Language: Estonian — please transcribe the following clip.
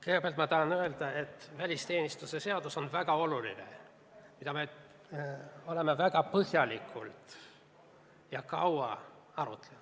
Kõigepealt ma tahan öelda, et välisteenistuse seadus on väga oluline ja me oleme seda väga põhjalikult ja kaua arutanud.